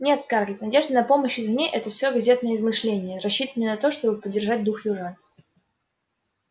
нет скарлетт надежда на помощь извне это всё газетные измышления рассчитанные на то чтобы поддержать дух южан